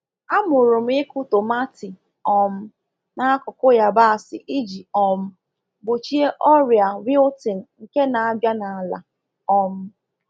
Amụrụ m ịkụ tomati um n'akụkụ yabasị iji um gbochie ọrịa wilting nke na-abịa n’ala. um